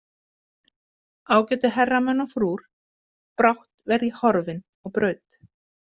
Ágætu herramenn og frúr, brátt verð ég horfinn á braut.